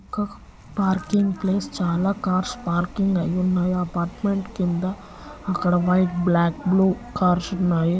క parking place చాలా cars parking అయ్యి ఉన్నాయి. అపార్ట్మెంట్ కింద అక్కడ వైట్ బ్లాక్ బ్ల్యూ కార్స్ ఉన్నాయి.